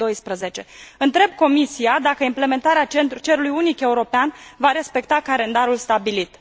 2012. Întreb Comisia dacă implementarea cerului unic european va respecta calendarul stabilit.